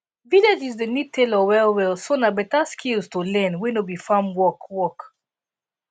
villages dey need tailor wellwell so na better skills to learn wey no be farm work work